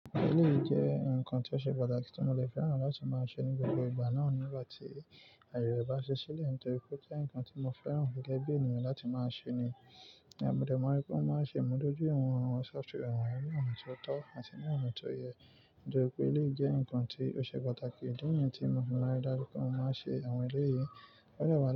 Ilé jẹ́ ǹkan tó ṣe pàtàkì tí mo lè fẹ́ràn láti máa ṣe ní gbogbo ìgbà náà nígbà tí àyè bá ṣe sílẹ̀ nítorí pé ó jẹ́ ǹkan tí mo fẹ́ràn gẹ́gẹ́ bí ènìyàn láti máa ṣe ni. Ìgbà òdè mọ́ pé ó máa ń ṣe ń mú lójú ìwọ̀n àwọn software, àwọn ẹ̀rí àmì tó tọ́ àti ní àmì tó yẹ. Nítorí pé ilé jẹ́ ǹkan tí ó ṣe pàtàkì, díẹ̀ nìyẹn tí mo fi máa rí dájú pé ó máa ń ṣe àwọn ilé yìí. Ọ̀rẹ́ wa ló.